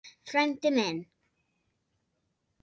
Frændi minn